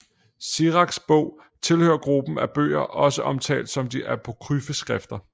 Siraks Bog tilhører gruppen af bøger også omtalt som de apokryfe skrifter